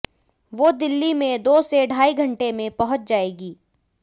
वो दिल्ली में दो से ढाई घंटे में पहुंच जाएगी